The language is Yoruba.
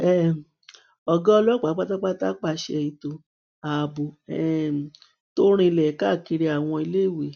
um ọgá ọlọpàá pátápátá pàṣẹ ètò ààbò um tó rinlẹ káàkiri àwọn iléèwé